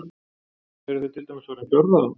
Eru þau til dæmis orðin fjárráða?